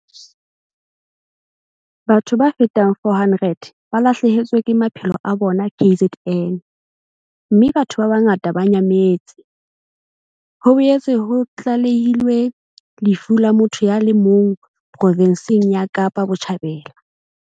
Batho ba fetang 400 ba lahlehetswe ke maphelo a bona KZN, mme batho ba bangata ba nyametse. Ho boetse ho tlalehilwe lefu la motho ya le mong profenseng ya Kapa Botjhabela.